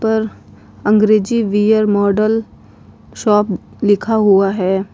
ऊपर अंग्रेजी wear model shop लिखा हुआ है।